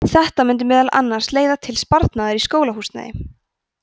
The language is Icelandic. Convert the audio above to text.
þetta mundi meðal annars leiða til sparnaðar í skólahúsnæði